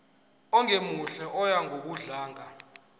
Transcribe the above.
ongemuhle oya ngokudlanga